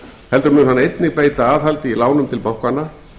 heldur mun hann einnig beita aðhaldi í lánum til bankanna